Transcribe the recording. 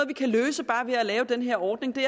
vi kan løse bare ved at lave den her ordning det